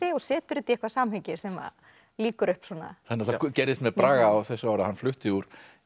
og setur þetta í eitthvað samhengi sem lýkur upp það gerðist með Braga á þessu ári að hann flutti úr